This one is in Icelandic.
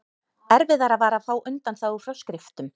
erfiðara var að fá undanþágu frá skriftum